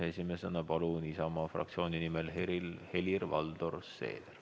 Esimesena palun Isamaa fraktsiooni nimel kõnelema Helir-Valdor Seederi.